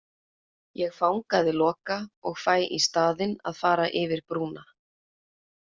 Ég fangaði Loka og fæ í staðinn að fara yfir brúna